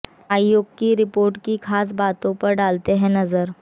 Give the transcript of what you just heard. आयोग की रिपोर्ट की खास बातों पर डालते हैं नजर